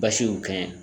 Basi y'o kɛ